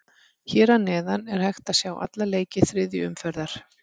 Hér að neðan er hægt að sjá alla leiki þriðju umferðar.